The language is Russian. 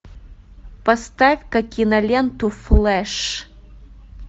поставь ка киноленту флэш